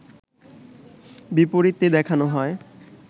বিপরীতে দেখানো হয়